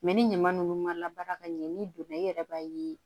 ni ɲama ninnu ma labara ka ɲɛ n'i donna i yɛrɛ b'a ye